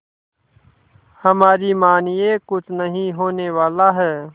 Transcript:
हमारी मानिए कुछ नहीं होने वाला है